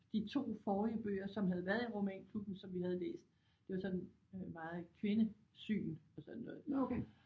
De 2 forrige bøger som havde været i romanklubben som vi havde læst det var sådan øh meget kvindesyn og sådan noget